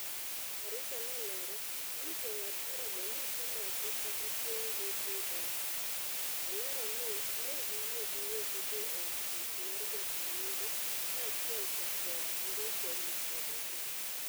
Karisa nolero ni jongad bura go nokomaki kata chun gi dhi e apisi. Olero ni negiyie giwegi dhi e apis mar jataa nonro kaachiel to kod ndiko lipode gi.